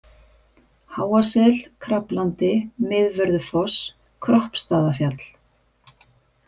Háasel, Kraflandi, Miðvörðufoss, Kroppstaðafjall